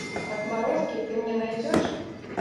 отморозки ты мне найдешь